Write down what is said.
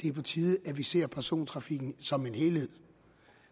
er på tide at vi ser persontrafikken som en helhed